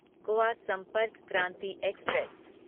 Goa Sampark Kranti express